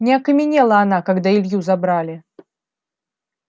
не окаменела она когда илью забрали